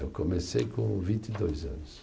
Eu comecei com vinte e dois anos.